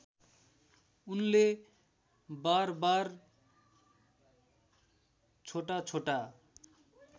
उनले बारबार छोटाछोटा